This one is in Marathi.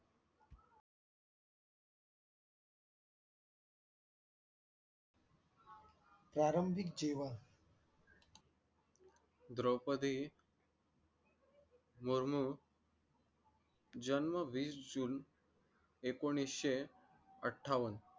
द्रौपदी मुर्मू जन्म वीस जून एकोणीशे अट्ठावन्न